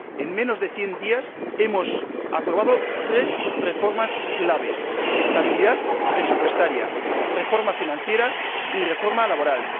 en menos de cien días hemos aprobado tres reformas claves estabilidad presupuestaria, reforma financiera y reforma laboral.